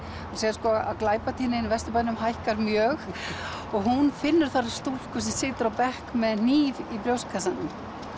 sérð að glæpatíðnin í Vesturbænum hækkar mjög og hún finnur þar stúlku sem situr á bekk með hníf í brjóstkassanum